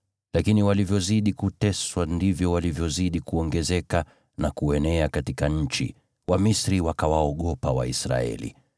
Lakini walivyozidi kuteswa ndivyo walivyozidi kuongezeka na kuenea katika nchi; Wamisri wakawaogopa Waisraeli,